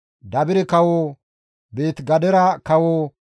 Dabire kawo, Beeti-Gadera kawo,